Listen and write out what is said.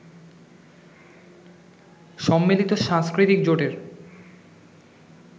সম্মিলিত সাংস্কৃতিক জোটের